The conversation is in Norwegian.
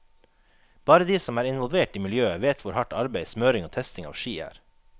Bare de som er involvert i miljøet vet hvor hardt arbeid smøring og testing av ski er.